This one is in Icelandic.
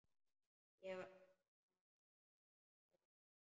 Ég svara ykkur seinna.